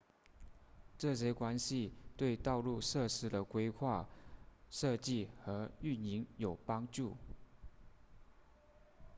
这些关系对道路设施的规划设计和运营有帮助